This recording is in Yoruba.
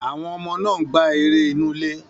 Àwọn ọmọ náà ń gbá eré inú ilé.